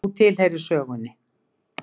Þú tilheyrir sögunni.